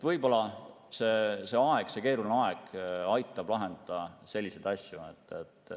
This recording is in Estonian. Võib-olla see keeruline aeg aitab lahendada selliseid asju.